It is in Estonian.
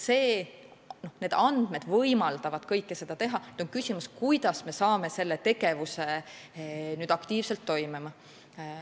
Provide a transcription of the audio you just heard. Need andmed võimaldavad kõike seda teha, nüüd on küsimus, kuidas me saame selle tegevuse aktiivselt toimima.